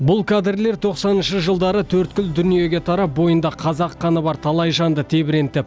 бұл кадрлер тоқсаныншы жылдары төрткүл дүниеге тарап бойында қазақ қаны бар талай жанды тебірентіп